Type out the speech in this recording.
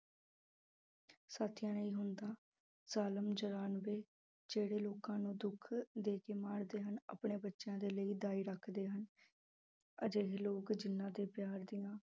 ਸਥਾਈ ਨਹੀਂ ਹੁੰਦਾ, ਕਾਲਮ ਚੁਰਾਨਵੇਂ ਜਿਹੜੇ ਲੋਕਾਂ ਨੂੰ ਦੁੱਖ ਦੇ ਕੇ ਮਾਰਦੇ ਹਨ ਆਪਣੇ ਬੱਚਿਆਂ ਦੇ ਲਈ ਦਾਈ ਰੱਖਦੇ ਹਨ ਹਜੇ ਵੀ ਲੋਕ ਜਿਹਨਾਂ ਦੇ ਪਿਆਰ ਦੀਆਂ